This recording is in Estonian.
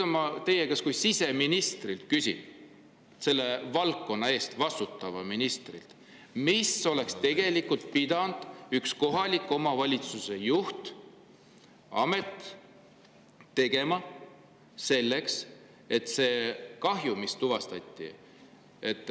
Ma küsin teie kui siseministri, selle valdkonna eest vastutava ministri käest: mida oleks tegelikult pidanud üks kohaliku omavalitsuse juht, amet tegema selle kahju suhtes, mis tuvastati?